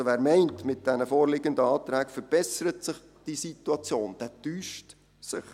Wer meint, mit den vorliegenden Anträgen würde sich die Situation verbessern, täuscht sich.